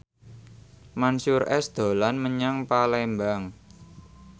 Mansyur S dolan menyang Palembang